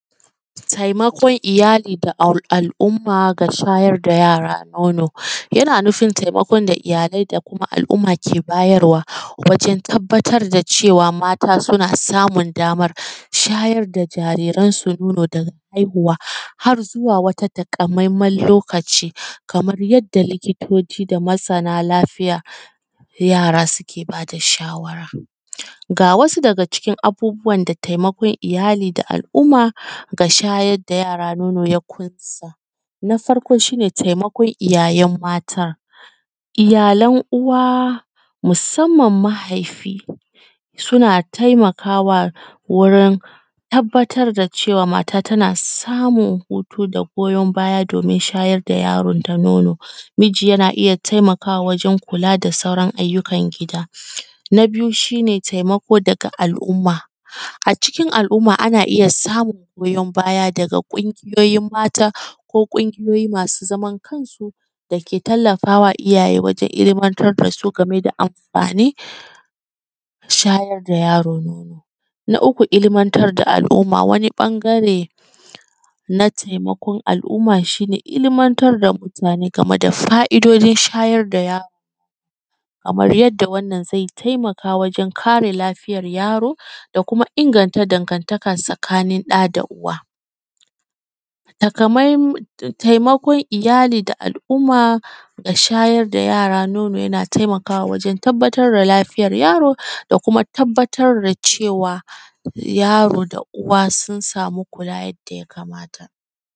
Taimakon iyali da al’umma ga shayar da yara nono. Yana nufin taimakon da iyalai da kuma al’umma ke bayarwa, wajen tabbatar da cewa mata suna samun damar shayar da jariransu nono daga haihuwa har zuwa wata takamaiman lokaci, kamar yadda likitoci da masana lafiyar yara suke ba da shawara. Ga wasu daga cikin abubuwan da taimakon iyali da al’umma ga shayar da yara nono ya ƙunsa: Na farko shi ne taimakon iyaye mata. Iyalan uwa, musamman mahaifi, suna taimakawa wurin tabbatar da cewa mata tana samun hutu da goyon baya domin shayar da yaronta nono. Miji yana iya taimakawa wajen kula da sauran ayyukan gida. Na biyu shi ne, taimako daga al’umma. A cikin al’umma ana iya samun goyon baya daga ƙungiyoyin mata, ko ƙungiyoyi masu zaman kansu da ke tallafa wa iyaye wajen ilmantar da su game da amfanin shayar da yaro nono. Na uku, ilmantar da al’umma, wani ɓangare, na taimakon al’umma shi ne, ilmantar da mutane game da fa’idojin shayar da yaro kamar yadda wannan zai taimaka wajen kare lafiyar yaro, da kuma inganta dangantaka tsakanin ɗa da uwa. Taimakon iyali da al’umma, ga shayar da yara nono yana taimakawa wajen tabbatar da lafiyar yaro, da kuma tabbatar da cewa, yaro da uwa sun samu kula yadda ya kamata.